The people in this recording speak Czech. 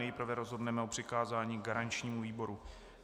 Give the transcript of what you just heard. Nejprve rozhodneme o přikázání garančnímu výboru.